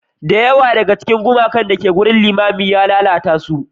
Da yawa daga cikin gumakan da ke cikin wurin limamin ya lalata su.